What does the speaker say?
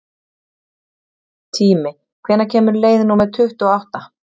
Tími, hvenær kemur leið númer tuttugu og átta?